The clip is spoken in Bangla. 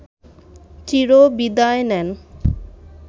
চিরবিদায় নেন